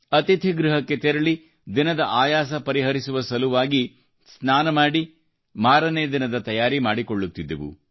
ಅತಿಥಿಗೃಹಕ್ಕೆ ತೆರಳಿ ದಿನದ ಆಯಾಸ ಪರಿಹರಿಸುವ ಸಲುವಾಗಿ ಸ್ನಾನ ಮಾಡಿ ಮಾರನೇ ದಿನದ ತಯಾರಿ ಮಾಡಿಕೊಳ್ಳುತ್ತಿದ್ದೆವು